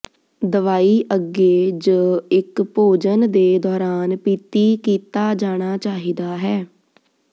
ਦਵਾਈ ਅੱਗੇ ਜ ਇੱਕ ਭੋਜਨ ਦੇ ਦੌਰਾਨ ਪੀਤੀ ਕੀਤਾ ਜਾਣਾ ਚਾਹੀਦਾ ਹੈ